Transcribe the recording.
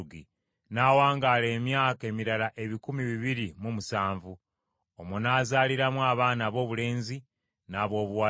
N’awangaala emyaka emirala ebikumi bibiri mu musanvu. Omwo n’azaaliramu abaana aboobulenzi n’aboobuwala.